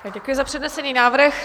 Děkuji za přednesený návrh.